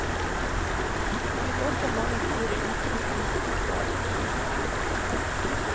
Han fikk også mange store utsmykkingsoppgaver.